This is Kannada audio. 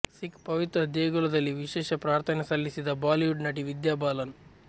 ಸಿಖ್ ಪವಿತ್ರ ದೇಗುಲದಲ್ಲಿ ವಿಶೇಷ ಪ್ರಾರ್ಥನೆ ಸಲ್ಲಿಸಿದ ಬಾಲಿವುಡ್ ನಟಿ ವಿದ್ಯಾ ಬಾಲನ್